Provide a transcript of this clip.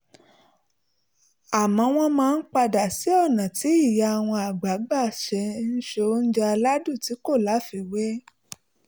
àmọ́ wọ́n máa ń padà sí ọ̀nà tí ìyá wọn àgbà gbà ń se oúnjẹ aládùn tí kò láfiwé